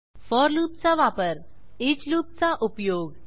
four लूपचा वापर each लूपचा उपयोग